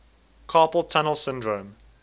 carpal tunnel syndrome